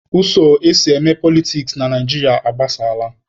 Ụzọ esi eme politiks na Naijiria agbasaala.